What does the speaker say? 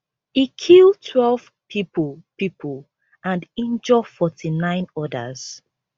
e kill twelve pipo pipo and injure forty-nine odas